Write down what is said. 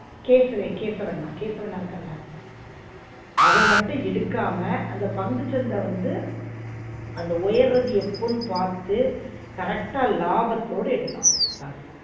கேசவ கேசவன் கேசவ அண்ணா இருக்கான்ல அவன் மட்டும் எடுக்காம அந்த பங்குசந்த வந்து அந்த உயறது எப்போனு பாத்து correct ஆ லாபத்தோட எடுத்தான் காசு